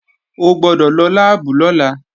O gbọ́dọ̀ lọ láàbù lọ́la!